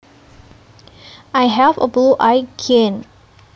I have a blue eye gene